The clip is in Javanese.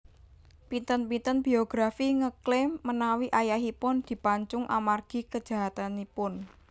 Pinten pinten biografi ngklaim menawi ayahipun dipancung amargi kejahatanipun